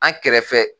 An kɛrɛfɛ